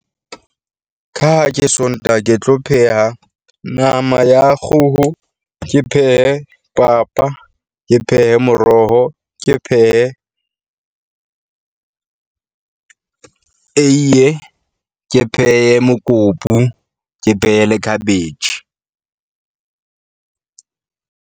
Ka ha ke Sontaha, ke tlo pheha nama ya kgoho, ke phehe papa, ke phehe moroho, Ke phehe eiye ke phehe mokopu, ke phehe le khabetjhe .